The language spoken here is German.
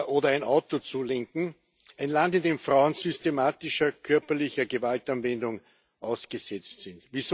oder ein Auto zu lenken, ein Land, in dem Frauen systematischer körperlicher Gewaltanwendung ausgesetzt sind.